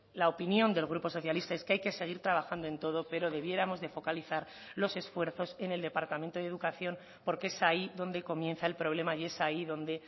la opinión del grupo socialista es que hay que seguir trabajando en todo pero debiéramos de focalizar los esfuerzos en el departamento de educación porque es ahí donde comienza el problema y es ahí donde